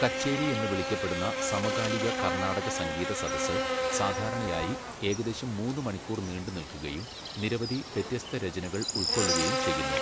കച്ചേരി എന്ന് വിളിക്കപ്പെടുന്ന സമകാലിക കർണാടക സംഗീത സദസ്സ് സാധാരണയായി ഏകദേശം മൂന്ന് മണിക്കൂർ നീണ്ടുനിൽക്കുകയും നിരവധി വ്യത്യസ്ത രചനകൾ ഉൾക്കൊള്ളുകയും ചെയ്യുന്നു.